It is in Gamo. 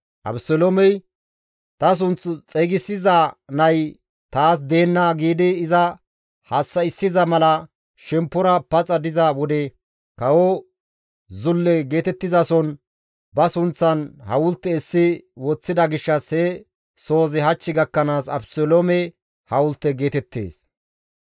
Abeseloomey, «Ta sunth xeygisiza nay taas deenna» giidi iza hassa7issana mala shemppora paxa diza wode kawo zulle geetettizason ba sunththan hawulte essi woththida gishshas he sohozi hach gakkanaas Abeseloome hawulte geetettees.